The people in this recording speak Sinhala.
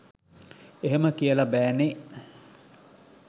එහෙම කියල බෑනේ